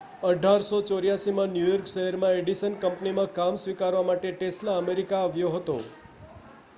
1884 માં New York શહેરમાં Edison કંપનીમાં કામ સ્વીકારવા માટે ટેસ્લા અમેરિકામાં આવ્યો હતો